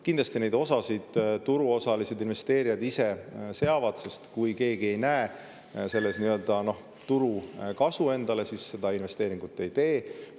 Kindlasti on osa neist turuosalised, investeerijad ise seavad, sest kui keegi ei näe selles nii-öelda turukasu endale, siis seda investeeringut ei tehta.